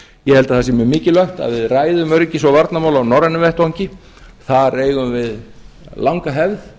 ég held að það sé mjög mikilvægt að við ræðum öryggis og varnarmál á norrænum vettvangi þar eigum við langa hefð